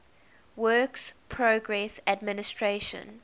works progress administration